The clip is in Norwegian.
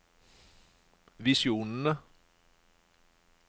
visjonene